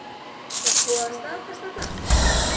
Er búið að staðfesta það?